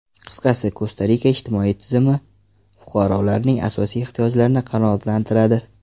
Qisqasi, Kosta-Rika ijtimoiy tizimi fuqarolarning asosiy ehtiyojlarini qanoatlantiradi.